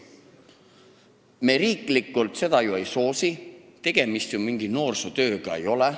Me riiklikult seda ju ei soosi, mingi noorsootööga tegemist ei ole.